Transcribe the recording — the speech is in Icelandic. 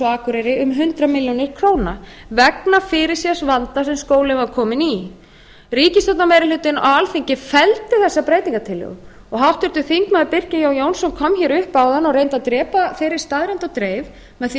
akureyri um hundrað milljónir króna vegna fyrirséðs vanda sem skólinn var kominn í ríkisstjórnarmeirihlutinn á alþingi felldi þessa breytingartillögu háttvirtur þingmaður birkir jón jónsson kom hér upp áðan og reyndi að drepa þeirri staðreynd á dreif með því að